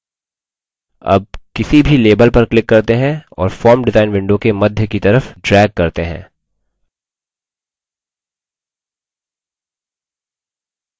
अब किसी भी label पर click करते हैं और form डिजाईन window के मध्य की तरफ drag करते हैं